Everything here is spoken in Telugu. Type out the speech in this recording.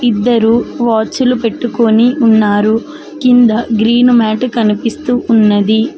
ఇద్దరూ వాచ్ లు పెట్టుకొని ఉన్నారు కింద గ్రీన్ మ్యాట్ కనిపిస్తూ ఉంది.